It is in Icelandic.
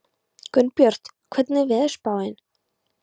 Gunnbjört, hvernig er veðurspáin?